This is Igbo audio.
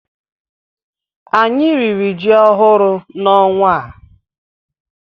Anyị riri ji ọhụrụ na ọnwa a